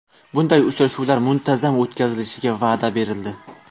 Bunday uchrashuvlar muntazam o‘tkazilishiga va’da berildi.